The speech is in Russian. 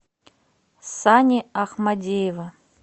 сани ахмадеева